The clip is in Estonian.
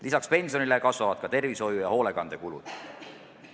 Lisaks pensionile kasvavad ka tervishoiu- ja hoolekandekulud.